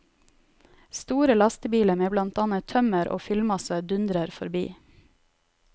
Store lastebiler med blant annet tømmer og fyllmasse dundrer forbi.